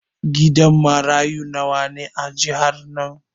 Gidan marayu nawa ne a jihar nan?